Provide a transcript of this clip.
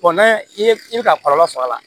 i ye i bɛ ka kɔlɔlɔ sɔrɔ a la